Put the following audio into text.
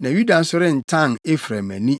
na Yuda nso rentan Efraim ani.